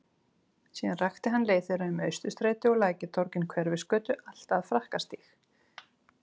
Síðan rakti hann leið þeirra um Austurstræti og Lækjartorg, inn Hverfisgötu allt að Frakkastíg.